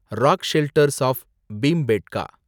rock shelters of Bhimbetka